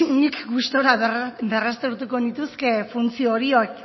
nik gustura berraztertuko nituzke funtzio